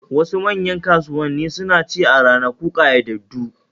Wasu manyan kasuwanni suna ci a ranaku ƙayyadaddu